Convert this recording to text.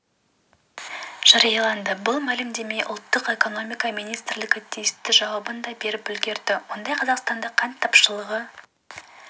жарияланды бұл мәлімдемеге ұлттық экономика министрлігі тиісті жауабын да беріп үлгерді онда қазақстанда қант тапшылығы